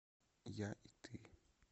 я и ты